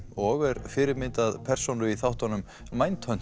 og er fyrirmynd að persónu í þáttunum